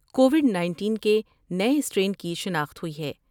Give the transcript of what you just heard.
Covid nineteen کے نئے strain کی شناخت ہوئی ہے ۔